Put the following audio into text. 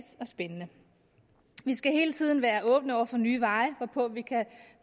og spændende vi skal hele tiden være åbne over for nye veje hvorpå vi kan